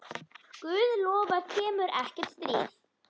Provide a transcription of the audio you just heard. Guð lofar kemur ekkert stríð.